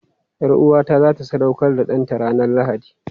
Yar'uwata za ta sadaukar da ɗanta ranar Lahadi.